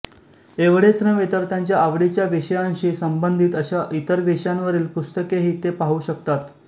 एवढेच नव्हे तर त्यांच्या आवडीच्या विषयांशी संबंधित अशा इतर विषयांवरील पुस्तकेही ते पाहू शकतात